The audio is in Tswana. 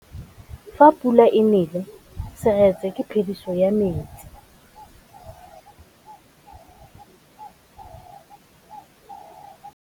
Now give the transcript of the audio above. Fa pula e nelê serêtsê ke phêdisô ya metsi.